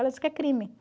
Ela diz que é crime.